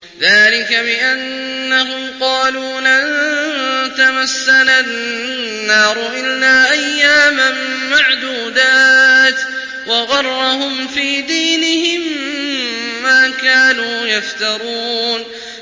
ذَٰلِكَ بِأَنَّهُمْ قَالُوا لَن تَمَسَّنَا النَّارُ إِلَّا أَيَّامًا مَّعْدُودَاتٍ ۖ وَغَرَّهُمْ فِي دِينِهِم مَّا كَانُوا يَفْتَرُونَ